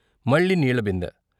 మళ్ళీ నీళ్ళ బిందె.